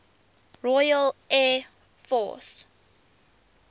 royal air force